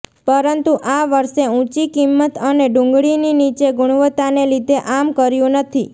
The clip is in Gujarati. પરંતુ આ વર્ષે ઊંચી કિંમત અને ડુંગળીની નીચી ગુણવત્તાને લીધે આમ કર્યું નથી